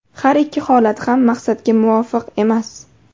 Har ikki holat ham maqsadga muvofiq emas.